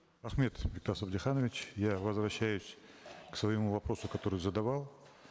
рахмет бектас абдиханович я возвращаюсь к своему вопросу который задавал